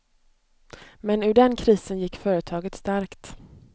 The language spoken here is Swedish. Men ur den krisen gick företaget stärkt.